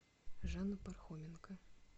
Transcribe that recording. жанна пархоменко